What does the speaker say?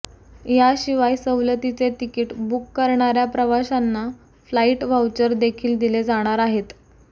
याशिवाय सवलतीचे ticket book करणाऱ्या प्रवाशांना फ्लाईट व्हाऊचर देखील दिले जाणार आहेत